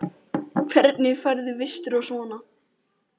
Hvernig færðu vistir og svona?